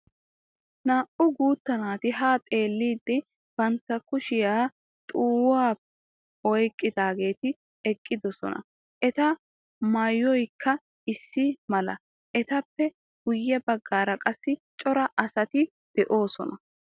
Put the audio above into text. Naa"u guutta naati haa xeelliidi bantta kushiyan xuwafiya oyikkidaageeti eqqidosona. Eta mayyoyikka issi mala. Etappe guyye baggaara qassi cora asati de'oosona.